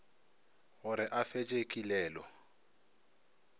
go re a fetše kilelo